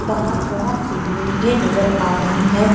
बाहर बहुत सी बिल्डिंगें नजर आ रही है।